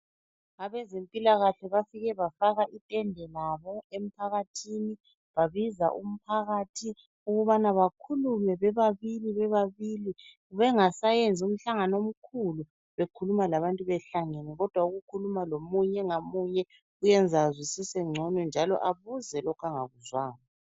Abezempilakahle bafike bafaka intende labo emphakathini, babiza umphakathi ukubana bakhulume bebabili bebabili bengasayenzi umhlangano omkhulu bekhuluma labantu behlangene kodwa ukukhuluma lomunye ngamunye kuyenza azwisise ngcono njalo abuze lokho angakuzwanga.